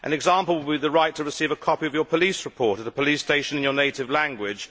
An example would be the right to receive a copy of your police report at a police station in your native language.